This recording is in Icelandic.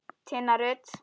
Tinna Rut.